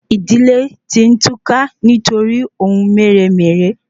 Idile ti n túká nítoríi ohun meré-meré